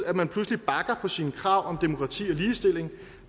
at man pludselig bakker på sine krav om demokrati og ligestilling